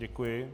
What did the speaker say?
Děkuji.